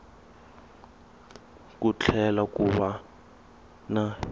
ku tlhela ku va na